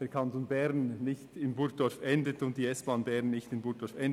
die kantonale Planung beziehungsweise die S-Bahn nicht in Burgdorf endet.